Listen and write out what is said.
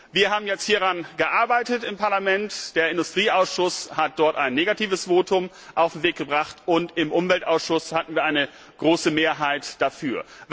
Wir haben jetzt im Parlament daran gearbeitet Der Industrieausschuss hat dort ein negatives Votum auf den Weg gebracht, und im Umweltausschuss hatten wir eine große Mehrheit dafür.